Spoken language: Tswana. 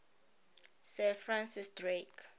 sir francis drake